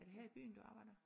Er det her i byen du arbejder?